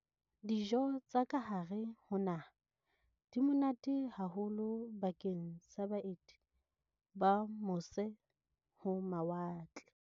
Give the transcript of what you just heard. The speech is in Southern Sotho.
Dijo tsa kahare ho naha di monate haholo bakeng sa baeti ba mose-ho-mawatle.